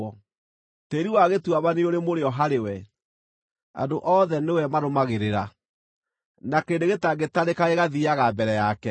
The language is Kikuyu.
Tĩĩri wa gĩtuamba nĩũrĩ mũrĩo harĩ we; andũ othe nĩwe marũmagĩrĩra, na kĩrĩndĩ gĩtangĩtarĩka gĩgathiiaga mbere yake.